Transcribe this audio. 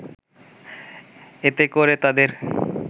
এতে করে তাদের